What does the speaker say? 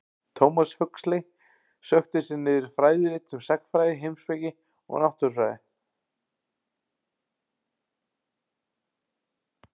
Thomas Huxley sökkti sér niður í fræðirit um sagnfræði, heimspeki og náttúrufræði.